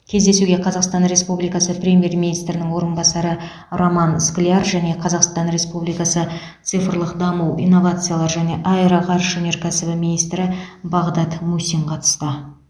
кездесуге қазақстан республикасы премьер министрінің орынбасары роман скляр және қазақстан республикасы цифрлық даму инновациялар және аэроғарыш өнеркәсібі министрі бағдат мусин қатысты